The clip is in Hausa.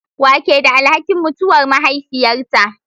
Wa ke da alhakin mutuwar mahaifiyarta?